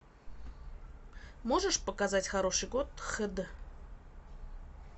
можешь показать хороший год х д